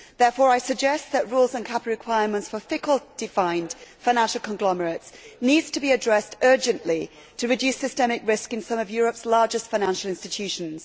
Therefore I suggest that rules and capital requirements for FiCOD defined financial conglomerates need to be addressed urgently to reduce systemic risk in some of Europe's largest financial institutions.